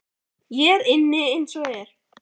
Ég er inni eins og er.